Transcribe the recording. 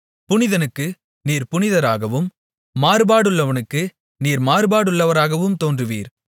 புனிதனுக்கு நீர் புனிதராகவும் மாறுபாடுள்ளவனுக்கு நீர் மாறுபடுகிறவராகவும் தோன்றுவீர்